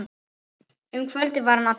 Um kvöldið var hann allur.